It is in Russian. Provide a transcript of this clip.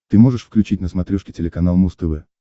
ты можешь включить на смотрешке телеканал муз тв